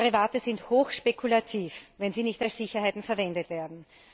Derivate sind hochspekulativ, wenn sie nicht als Sicherheiten verwendet werden.